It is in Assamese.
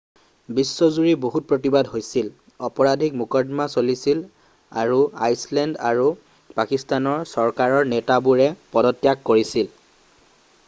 বিশ্বজুৰি বহুত প্ৰতিবাদ হৈছিল অপৰাধিক মোকৰ্দমা চলিছিল আৰু আইচলেণ্ড আৰু পাকিস্তান চৰকাৰৰ নেতাবোৰে পদত্যাগ কৰিছিল